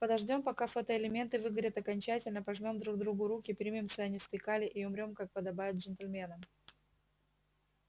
подождём пока фотоэлементы выгорят окончательно пожмём друг другу руки примем цианистый калий и умрём как подобает джентльменам